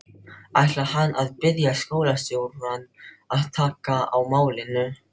Ætlar hann að biðja skólastjórann að taka á málinu?